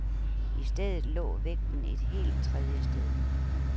I stedet lå vægten et helt tredje sted.